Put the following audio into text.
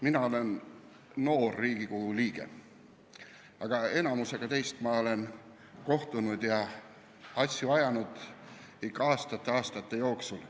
Mina olen noor Riigikogu liige, aga enamikuga teist olen kohtunud ja asju ajanud ikka juba aastate ja aastate jooksul.